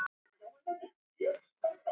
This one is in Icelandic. Hún hrökk í kút.